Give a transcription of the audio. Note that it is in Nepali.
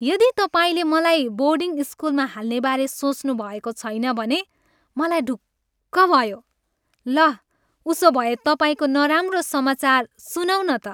यदि तपाईँले मलाई बोर्डिङ स्कुलमा हाल्नेबारे सोच्नुभएको छैन भने, मलाई ढुक्क भयो। ल, उसोभए तपाईँको नराम्रो समाचार सुनौँ न त।